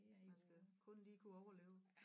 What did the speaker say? Man skal kun lige kunne overleve